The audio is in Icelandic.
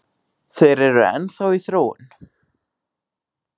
Þeir eru enn þá í þróun